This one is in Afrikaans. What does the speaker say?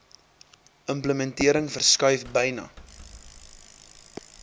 implementering verskuif byna